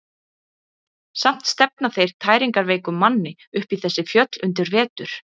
Samt stefna þeir tæringarveikum manni upp í þessi fjöll undir vetur.